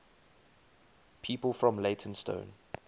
people from leytonstone